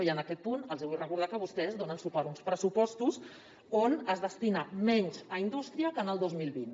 i en aquest punt els hi vull recordar que vostès donen suport a uns pressupostos on es destina menys a indústria que en el dos mil vint